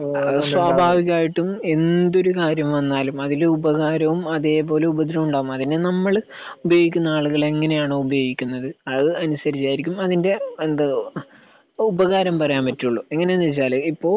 സ്വഭാവികമായിട്ടും എന്തൊരു കാര്യം വന്നാലും അതില് ഉപകാരവും അതെ പോലെ ഉപദ്രവവും ഉണ്ടാവും. അതിനെ നമ്മള് ഉപയോഗിക്കുന്ന ആളുകൾ എങ്ങനെയാണോ ഉപയോഗിക്കുന്നത് അത് അനുസരിച്ചായിരിക്കും അതിന്റെ എന്താ ഉപകാരം വരാൻ പറ്റോള്ളൂ. എങ്ങനെയാണ് എന്ന് വെച്ചാല് ഇപ്പൊ